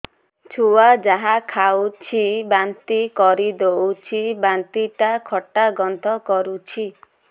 ଛୁଆ ଯାହା ଖାଉଛି ବାନ୍ତି କରିଦଉଛି ବାନ୍ତି ଟା ଖଟା ଗନ୍ଧ କରୁଛି